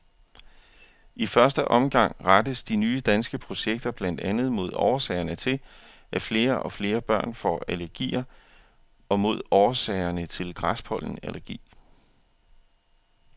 I første omgang rettes de nye danske projekter blandt andet mod årsagerne til, at flere og flere børn får allergier og mod årsagerne til græspollenallergi.